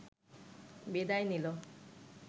বিদায় নিল